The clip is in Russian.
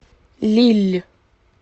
лилль